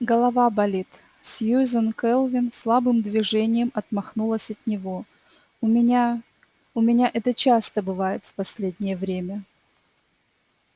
голова болит сьюзен кэлвин слабым движением отмахнулась от него у меня у меня это часто бывает в последнее время